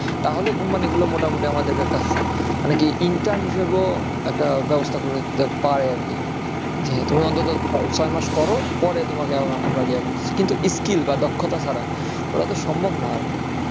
তাহলে company গুলো মোটামুটি আমাদের একটা মানে কী intern হিসাবেও একটা ব্যবস্থা করতে পারে আর কী। যে তুমি অন্তত ছয় মাস করো পরে তোমাকে আমরা ইয়ে করতাসি কিন্তু skill বা দক্ষতা ছাড়া ওটা তো সম্ভব না